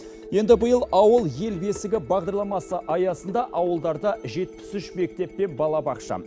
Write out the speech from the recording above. еңді биыл ауыл ел бесігі бағдарламасы аясында ауылдарда жетпіс үш мектеп пен балабақша